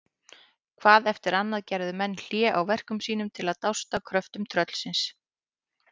Hvað eftir annað gerðu menn hlé á verkum sínum til að dást að kröftum tröllsins.